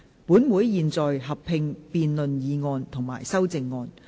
本會現在合併辯論議案及修正案。